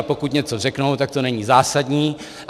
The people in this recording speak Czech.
A pokud něco řeknou, tak to není zásadní.